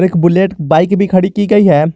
एक Bullet bike भी खड़ी की गई है।